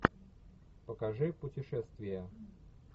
покажи путешествия